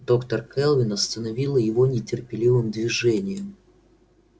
доктор кэлвин остановила его нетерпеливым движением